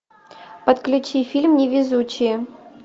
подключи фильм невезучие